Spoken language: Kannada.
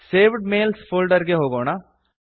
ಸೇವ್ಡ್ ಮೇಲ್ಸ್ ಫೋಲ್ಡರ್ ಗೆ ಹೋಗೋಣ